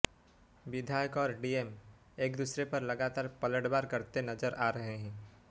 विधायक और डीएम एक दूसरे पर लगातार पलटवार करते नजर आ रहे हैं